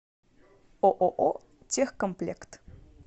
ооо техкомплект